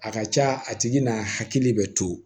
A ka ca a tigi n'a hakili bɛ to